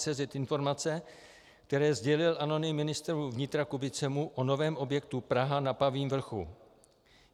cz informace, které sdělil anonym ministru vnitra Kubicemu o novém objektu Praha na Pavím vrchu.